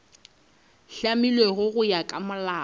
hlamilwego go ya ka molao